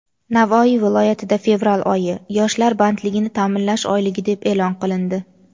Navoiy viloyatida fevral oyi - "Yoshlar bandligini ta’minlash oyligi" deb e’lon qilindi.